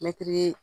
Mɛtiri